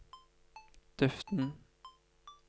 duften